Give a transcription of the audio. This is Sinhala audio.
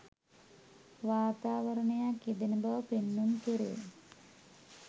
වාතාවරණයක් යෙදෙන බව පෙන්නුම් කෙරේ.